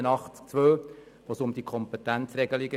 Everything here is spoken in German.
Es handelt sich dabei um die Kompetenzregelung.